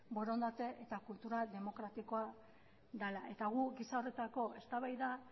borondatea eta kultura demokratikoa dela eta guk giza horretako eztabaida